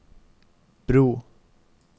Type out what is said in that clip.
bro